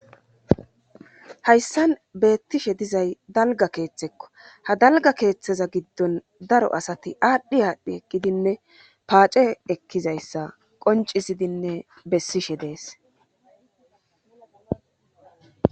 hayssan beettishe dizay dalga keeththekko ha dalga keeththeza giddon daro asati aadhdhi aadhdhi ekkidinne paace ekkizayssa qoncisidinne bessishe dees